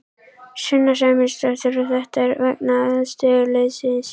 Sunna Sæmundsdóttir: Og þetta er vegna aðstöðuleysis?